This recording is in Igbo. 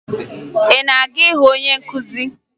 Ị na-aga ịhụ onye nkụzi?